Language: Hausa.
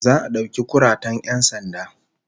Za'a dauki kuratan 'yan sanda